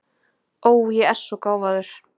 Ó, ég er svo gáfaður.